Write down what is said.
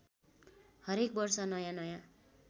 हरेक वर्ष नयाँनयाँ